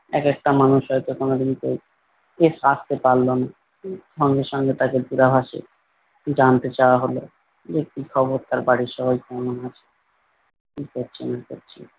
এক একটা মানুষ হয়তো কোনোদিন কেউ আস্তে পারলোনা সঙ্গে সঙ্গে তাকে দূরাভাষ এ জানতে চাওয়া হলো যে কি খবর তার বাড়ির সবাই কেমন আছে কি করছে না করছে।